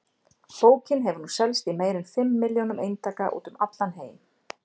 Bókin hefur nú selst í meira en fimm milljónum eintaka um allan heim.